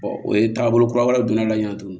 o ye taagabolo kura wɛrɛ don a la